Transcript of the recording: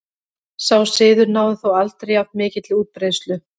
Sá siður náði þó aldrei jafn mikilli útbreiðslu.